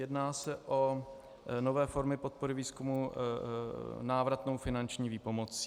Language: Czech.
Jedná se o nové formy podpory výzkumu návratnou finanční výpomocí.